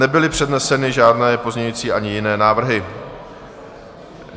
Nebyly předneseny žádné pozměňující ani jiné návrhy.